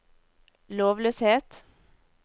lovløshet